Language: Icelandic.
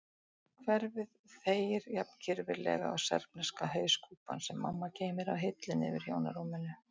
Hverfið þegir jafn kirfilega og serbneska hauskúpan sem mamma geymir á hillunni yfir hjónarúminu.